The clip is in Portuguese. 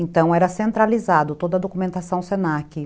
Então, era centralizado toda a documentação se na que